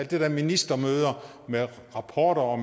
der med ministermøder rapporter og